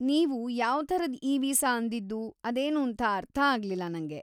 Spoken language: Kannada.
ನೀವು ʼಯಾವ್ ಥರದ್ ಇ-ವೀಸಾ‌ʼ ಅಂದಿದ್ದು ಅದೇನೂಂತ ಅರ್ಥ ಆಗ್ಲಿಲ್ಲ ನಂಗೆ.